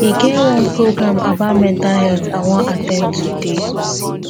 e get one program about mental health i wan at ten d today